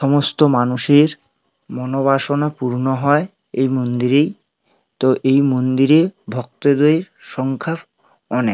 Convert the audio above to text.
সমস্ত মানুষের মনোবাসনা পূর্ণ হয় এই মন্দিরেই তো এই মন্দিরে ভক্তদের সংখ্যা অনেক।